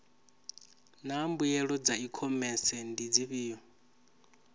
naa mbuelo dza ikhomese ndi dzifhio